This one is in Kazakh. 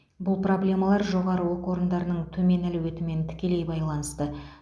бұл проблемалар жоғары оқу орындарының төмен әлеуетімен тікелей байланысты